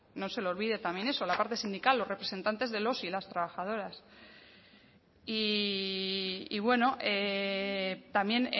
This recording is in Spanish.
no se le olvide también eso la parte sindical los representantes de los y las trabajadoras y bueno también